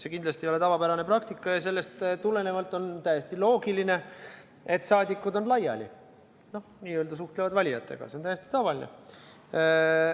See kindlasti ei ole tavapärane praktika ja sellest tulenevalt on täiesti loogiline, et saadikud on laiali, n-ö suhtlevad valijatega – see on täiesti tavaline.